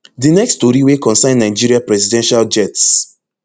di next tori wey concern nigeria presidential jets